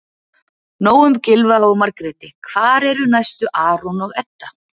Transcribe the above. Nóg um Gylfa og Margréti- hvar eru næstu Aron og Edda?